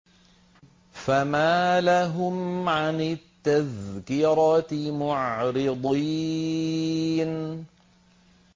فَمَا لَهُمْ عَنِ التَّذْكِرَةِ مُعْرِضِينَ